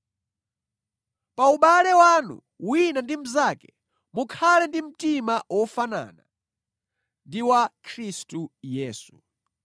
Pa ubale wanu wina ndi mnzake, mukhale ndi mtima wofanana ndi wa Khristu Yesu: